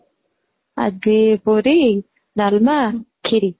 ଆଜି ପୁରୀ ,ଡାଲମା , ଖିରି